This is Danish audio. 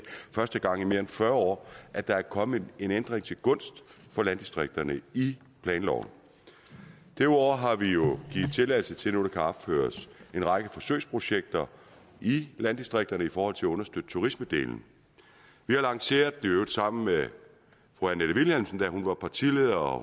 første gang i mere end fyrre år at der er kommet en ændring til gunst for landdistrikterne i planloven derudover har vi jo givet tilladelse til at der nu kan opføres en række forsøgsprojekter i landdistrikterne i forhold til at understøtte turismedelen vi har lanceret i øvrigt sammen med fru annette vilhelmsen da hun var partileder og